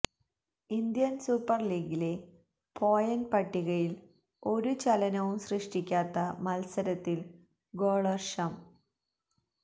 Indian super ലീഗിലെ point പട്ടികയില് ഒരു ചലനവും സൃഷ്ടിക്കാത്ത മത്സരത്തില് ഗോള്വര്ഷം